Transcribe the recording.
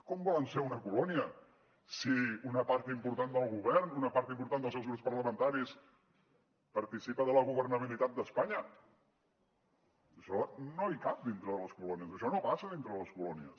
com volen ser una colònia si una part important del govern una part important dels seus grups parlamentaris participa de la governabilitat d’espanya això no hi cap dintre de les colònies això no passa dintre de les colònies